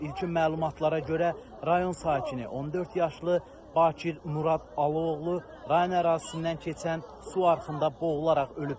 İlkin məlumatlara görə rayon sakini 14 yaşlı Bakir Murad Aloğlu rayon ərazisindən keçən su arxında boğularaq ölüb.